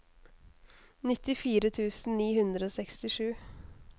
nittifire tusen ni hundre og sekstisju